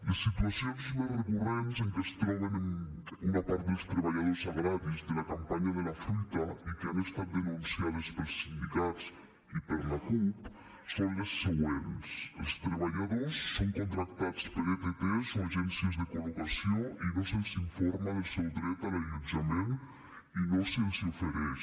les situacions més recurrents en què es troben una part dels treballadors agraris de la campanya de la fruita i que han estat denunciades pels sindicats i per la cup són les següents els treballadors són contractats per ett o agències de col·locació i no se’ls informa del seu dret a l’allotjament i no se’ls n’ofereix